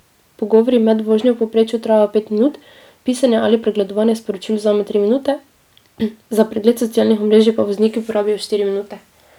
Pogovori med vožnjo v povprečju trajajo pet minut, pisanje ali pregledovanje sporočil vzame tri minute, za pregled socialnih omrežij pa vozniki porabijo štiri minute.